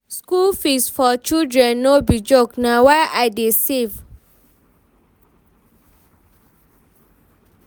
School fees for children no be joke na why I dey save.